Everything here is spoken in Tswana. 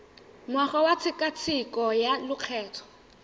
ngwaga wa tshekatsheko ya lokgetho